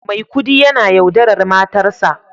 Maikudi yana yaudarar matarsa